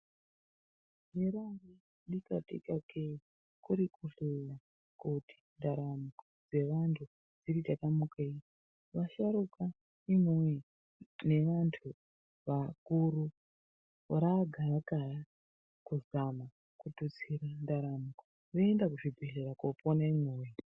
Hera bika tika kee kuri kuhleya kuti ndaramo dzevantu dziti tatamukeivasharuka imwi woye nevantu vakuru raa gaa kaya kuzama kututsira ndaramo voenda kuzvibhedhlera kopona imwe wee.